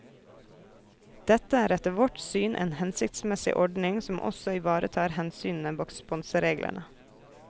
Dette er etter vårt syn en hensiktsmessig ordning som også ivaretar hensynene bak sponsereglene.